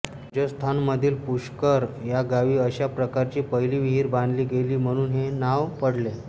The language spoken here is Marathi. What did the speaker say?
राजस्थानमधील पुष्कर या गावी अश्या प्रकारची पहिली विहीर बांधली गेली म्हणून हे नांव पडले